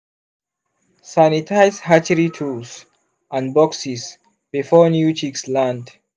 sanitize hatchery tools and boxes before new chicks land.